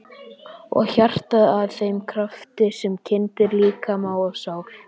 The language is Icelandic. Og hjartað að þeim krafti sem kyndir líkama og sál?